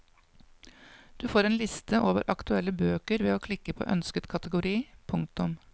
Du får en liste over aktuelle bøker ved å klikke på ønsket kategori. punktum